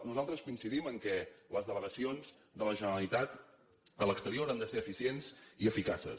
nosaltres coincidim en el fet que les delegacions de la generalitat a l’exterior han de ser eficients i eficaces